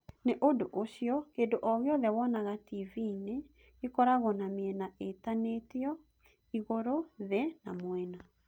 Nĩ ũndũ ũcio, kĩndũ o gĩothe wonaga TV-inĩ gĩkoragwo na mĩena ĩtinanĩtio, igũrũ, thĩ, na mwena.